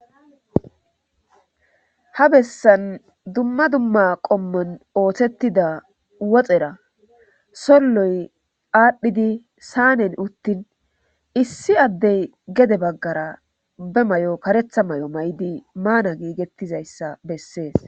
ha bessan dumma dumma qommon oothettida woxera solloy aadhdhidi saanen uttin issi addey gede baggara be may7o karetha may7o may7di maana giigettizayssa bessees